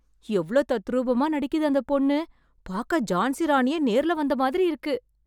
எவளோ தத்ரூபமா நடிக்குது அந்த பொண்ணு! பாக்க ஜான்சி ராணியே நேர்ல வந்த மாதிரி இருக்கு.